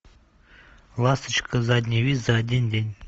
ласточка задний вид за один день